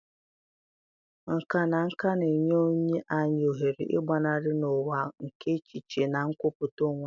Nkà na nka na-enye anyị ohere ịgbanarị n'ụwa nke echiche na nkwupụta onwe onye